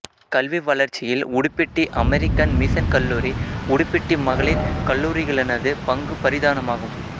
கல்வி வளர்ச்சியில் Udupiddy American Mission கல்லூரி உடுப்பிட்டி மகளிர் கல்லூரிகளினது பங்கு பிரதானமாகும்